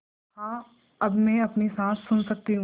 हाँ अब मैं अपनी साँस सुन सकती हूँ